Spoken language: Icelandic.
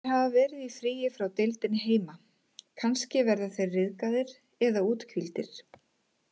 Þeir hafa verið í fríi frá deildinni heima, kannski verða þeir ryðgaðir eða úthvíldir.